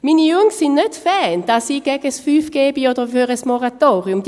Meine Jungs sind nicht Fans davon, dass ich gegen 5G oder für ein Moratorium bin;